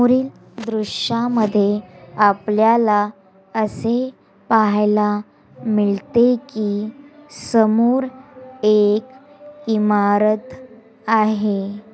द्रश्य मैड अपलल ला अशी पहला मिलते की समूर एक इमारत आाहे।